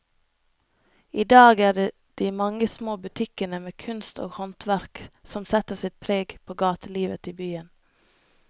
I dag er det de mange små butikkene med kunst og håndverk som setter sitt preg på gatelivet i byen.